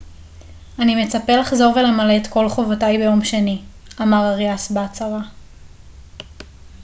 אני מצפה לחזור ולמלא את כל חובותיי ביום שני אמר אריאס בהצהרה